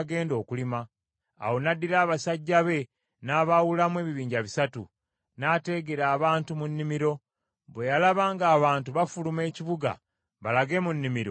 Awo n’addira abasajja be n’abaawulamu ebibinja bisatu, n’ateegera abantu mu nnimiro. Bwe yalaba ng’abantu bafuluma ekibuga balage mu nnimiro, n’abalumba.